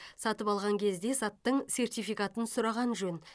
сатып алған кезде заттың сертификатын сұраған жөн